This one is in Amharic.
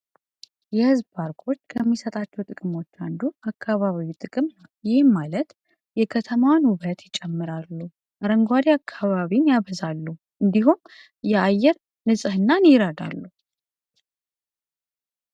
የህዝብ ፓርክዎርች ከሚሰጣቸው ጥቅሞች አንዱ አካባቢው ጥቅምነ ይህም ማለት የከተማውን ውበት ይጨምራሉ ረንጓሪ አካባቢን ያበዛሉ እንዲሁም የአየር ንጽህናን ይይረዳሉ።